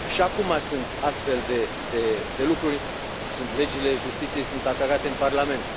Și acuma sunt astfel de lucruri legile justiției sunt atacate în Parlament.